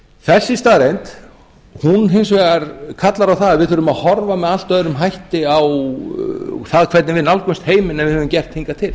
þessi staðreynd hún hins vegar kallar á það að við þurfum að horfa með allt öðrum hætti á það hvernig við nálgumst heiminn en við höfum gert hingað til